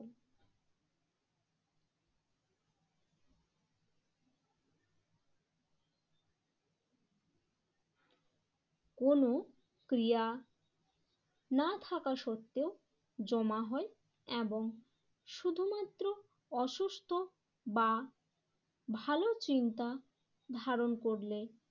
কোন ক্রিয়া না থাকা সত্ত্বেও জমা হয় এবং শুধুমাত্র অসুস্থ বা ভালো চিন্তা ধারণ করলে